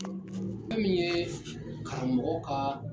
Fɛn mi ye karamɔgɔ ka